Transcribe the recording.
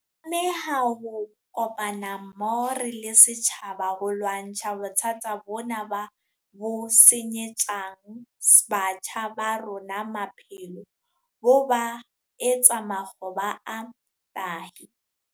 Re tlameha ho kopana mmoho re le setjhaba ho lwantsha bothata bona bo senyetsang batjha ba rona maphelo, bo ba etse makgoba a tahi.